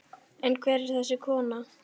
En hver er þessi kona?